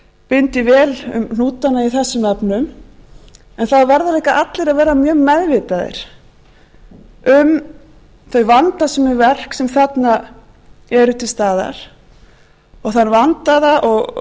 bindi vel hnútana í þessum efnum en það verða líka allir að vera mjög meðvitaðir um þau vandasömu verk sem eru þarna til staðar og þann vandaða skilning